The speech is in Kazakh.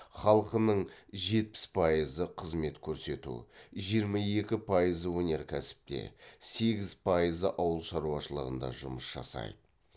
халқының жетпіс пайызы қызмет көрсету жиырма екі пайызы өнеркәсіпте сегіз пайызы ауыл шаруашылығында жұмыс жасайды